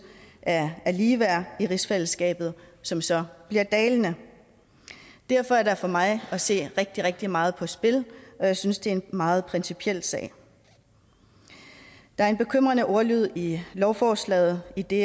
af af ligeværd i rigsfællesskabet som så bliver dalende derfor er der for mig at se rigtig rigtig meget på spil og jeg synes det er en meget principiel sag der er en bekymrende ordlyd i lovforslaget idet